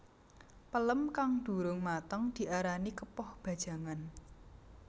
Pelem kang durung mateng diarani kepoh bajangan